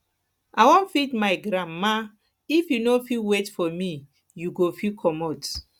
i wan feed my grandma if you no fit wait for for me you go fit comot